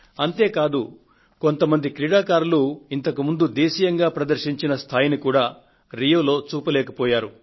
అంతే కాదు కొంత మంది క్రీడాకారులు ఇంతకుముందు దేశీయంగా ప్రదర్శించిన స్థాయిని కూడా రియోలో చూపలేకపోయారు